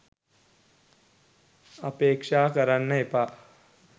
අපේක්ෂා කරන්න එපා.